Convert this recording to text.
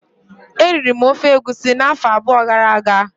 Eriri m ofe egusi afọ abụọ gara aga